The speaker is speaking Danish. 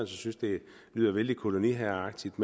synes det lyder vældig koloniherreagtigt